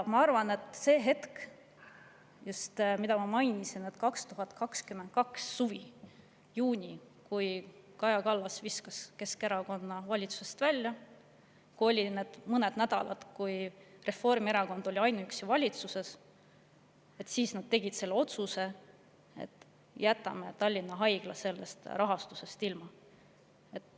Ma arvan, et sel hetkel, mida ma mainisin, 2022. aasta suvel juunis, kui Kaja Kallas viskas Keskerakonna valitsusest välja ja olid need mõned nädalad, kui Reformierakond oli ainuüksi valitsuses, nad tegid selle otsuse, et jätame Tallinna Haigla rahastusest ilma.